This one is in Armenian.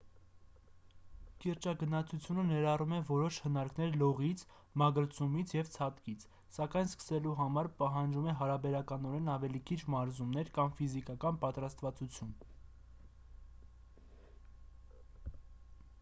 կիրճագնացությունը ներառում է որոշ հնարքներ լողից մագլցումից և ցատկից սակայն սկսելու համար պահանջում է հարաբերականորեն ավելի քիչ մարզումներ կամ ֆիզիկական պատրաստվածություն ի տարբերություն օրինակ՝ ժայռ մագլցելը ստորջրյա լողը կամ ալպյան դահուկավազքը: